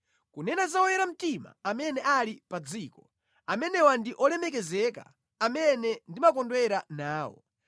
Kunena za oyera mtima amene ali pa dziko, amenewa ndi olemekezeka, amene ndimakondwera nawo.